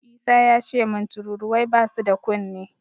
Isa yace min tururuwai basu da kunne.